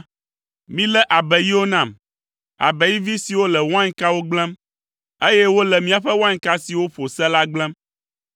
Milé abeiwo nam, abeivi siwo le wainkawo gblẽm, eye wole míaƒe wainka siwo ƒo se la gblẽm.